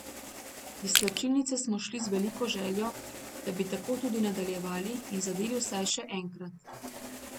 Iz slačilnice smo šli z veliko željo, da bi tako tudi nadaljevali in zadeli vsaj še enkrat.